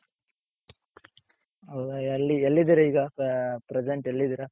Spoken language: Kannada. ಹೌದ ಎಲ್ಲಿ ಎಲ್ಲಿದಿರ ಈಗ present ಎಲ್ಲಿದಿರ?